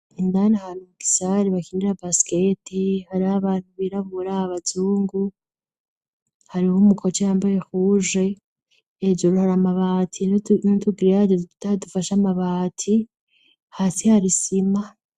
Indanihanaumugisari bakindira basketi hari abantu biraburaabazungu hari uho umukoce yambaye kuje ejoro hari amabati inutugira yajeze tutadufasha amabati hasi harisima.